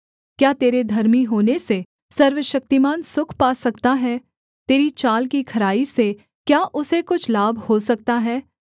क्या तेरे धर्मी होने से सर्वशक्तिमान सुख पा सकता है तेरी चाल की खराई से क्या उसे कुछ लाभ हो सकता है